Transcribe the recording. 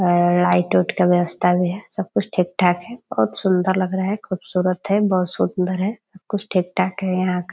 और लाइट - उट का व्यवस्था भी है सब कुछ ठीक-ठाक है बहुत सुंदर लग रहा है खूबसूरत है बहुत सुंदर है सब कुछ ठीक-ठाक है यहाँ का ।